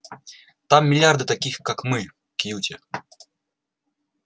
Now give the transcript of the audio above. там миллиарды таких как мы кьюти